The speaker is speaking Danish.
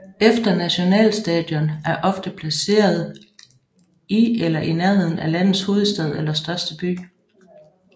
Et nationalstadion er ofte placeret i eller i nærheden af landets hovedstad eller største by